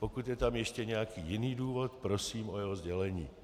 Pokud je tam ještě nějaký jiný důvod, prosím o jeho sdělení.